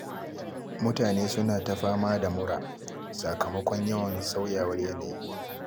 Mutane suna ta fama da mura, sakamakon yawan sauyawar yanayi.